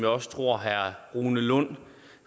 også tror herre rune lund